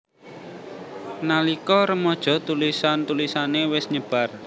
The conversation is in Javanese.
Nalika remaja tulisan tulisané wis nyebar